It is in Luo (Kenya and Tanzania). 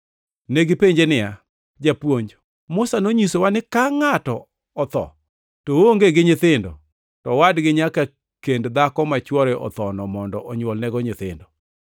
Negipenje niya, “Japuonj, Musa nonyisowa ni ka ngʼato otho ka oonge gi nyithindo to owadgi nyaka kend dhako ma chwore othono mondo onywolnego nyithindo.